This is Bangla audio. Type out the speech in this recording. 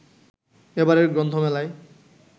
এবারের গ্রন্থমেলায়